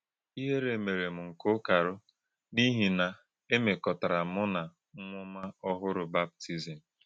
Ìhèrè̄ méré̄ m̄ ńké ụ̀kàrụ́ n’ìhí̄ nā è mẹ́kọ̀tārà m̄ụ́ na ǹwụ́m̀á òhụrụ baptizim.